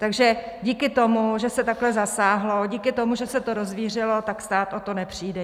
Takže díky tomu, že se takhle zasáhlo, díky tomu, že se to rozvířilo, tak stát o to nepřijde.